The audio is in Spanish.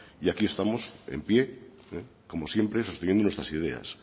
y aquí estamos en pie como siempre sosteniendo nuestras ideas